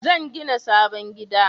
Zan gina sabon gida